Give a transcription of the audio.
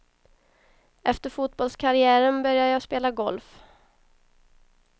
Efter fotbollskarriären började jag spela golf.